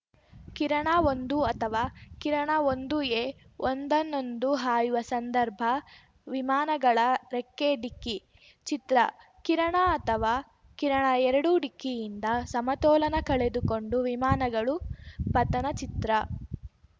ಕಿರಣಒಂದು ಅಥವಾ ಕಿರಣಒಂದುಎ ಒಂದನ್ನೊಂದು ಹಾಯುವ ಸಂದರ್ಭ ವಿಮಾನಗಳ ರೆಕ್ಕೆ ಡಿಕ್ಕಿ ಚಿತ್ರ ಕಿರಣ ಅಥವಾ ಕಿರಣಎರಡು ಡಿಕ್ಕಿಯಿಂದ ಸಮತೋಲನ ಕಳೆದುಕೊಂಡು ವಿಮಾನಗಳು ಪತನ ಚಿತ್ರ